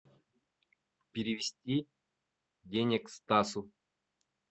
перевести денег стасу